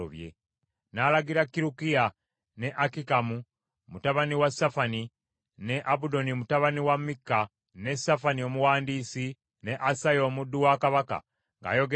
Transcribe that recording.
N’alagira Kirukiya ne Akikamu mutabani wa Safani, ne Abudoni mutabani wa Mikka, ne Safani omuwandiisi, ne Asaya omuddu wa kabaka, ng’ayogera nti,